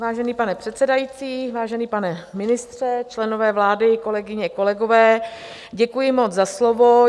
Vážený pane předsedající, vážený pane ministře, členové vlády, kolegyně, kolegové, děkuji moc za slovo.